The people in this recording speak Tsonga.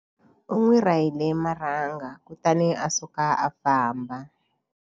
U n'wi rahile marhanga kutani a suka a famba.